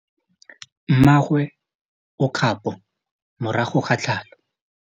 Mmagwe o kgapô morago ga tlhalô.